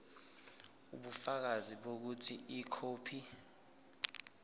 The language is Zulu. ubufakazi bokuthi ikhophi